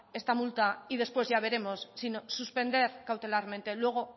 esta multa y después ya veremos sino suspender cautelarmente luego